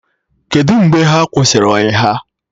Kedụ mgbe ha kwụsịrị ọyị ha?